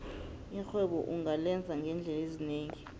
irhwebo ungalenza ngeendlela ezinengi